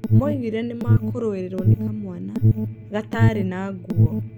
Moigire nĩ maakuĩrĩirũo nĩ kamwana "gataarĩ na nguo"